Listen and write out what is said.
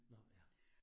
Nåh ja